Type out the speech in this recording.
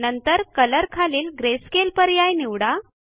नंतर कलर खालील ग्रेस्केल पर्याय निवडा